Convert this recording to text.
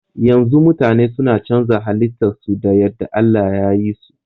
Yanzu mutane suna canza halitta su da yadda Allah yayi so